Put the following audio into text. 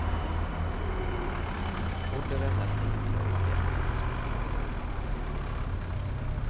Morderen er flink til å ikke etterlate spor.